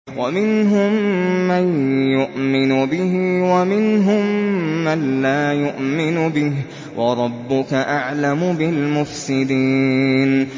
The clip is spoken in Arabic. وَمِنْهُم مَّن يُؤْمِنُ بِهِ وَمِنْهُم مَّن لَّا يُؤْمِنُ بِهِ ۚ وَرَبُّكَ أَعْلَمُ بِالْمُفْسِدِينَ